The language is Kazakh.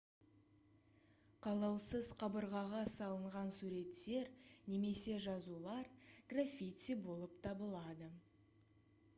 қалаусыз қабырғаға салынған суреттер немесе жазулар граффити болып табылады